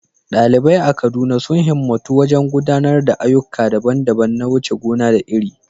Ɗalibai a Kaduna sun himmatu wajen gudanar da ayyuka daban-daban na wuce gona da iri.